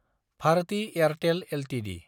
Bharati Airtel Ltd